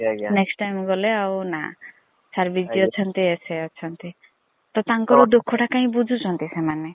next time ଗଲେ ଆଉ ନା sir busy ଅଛନ୍ତି ସେ ଅଛନ୍ତି ତ ତାଙ୍କର ଦୁଖ ଟା କାଇଁ ବୁଝୁଛନ୍ତି ସେମାନେ।